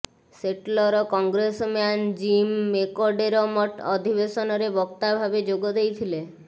ସେଟଲର congressman Jim McDermott ଅଧିବେଶନରେ ବକ୍ତା ଭାବେ ଯୋଗ ଦେଇଥିଲେ